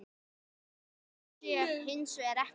Svo sé hins vegar ekki.